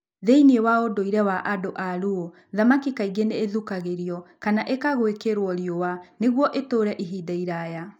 Thĩinĩ wa ũndũire wa andũ a Luo, thamaki kaingĩ nĩ ithukagĩrio kana ikagwĩkĩrũo riũa nĩguo itũũre ihinda iraya.